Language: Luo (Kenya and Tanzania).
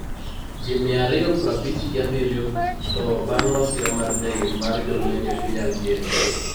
Ji mia aryo prabich gi abiryo tho bang ' masira mar ndege mar jolweny e piny Algeria